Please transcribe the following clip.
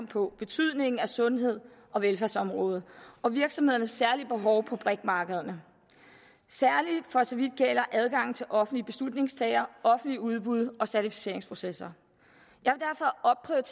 på betydningen af sundheds og velfærdsområdet og virksomhedernes særlige behov på brik markederne særlig for så vidt gælder adgangen til offentlige beslutningstagere offentligt udbud og certificeringsprocesser